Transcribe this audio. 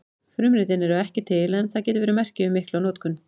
Frumritin eru ekki til en það getur verið merki um mikla notkun.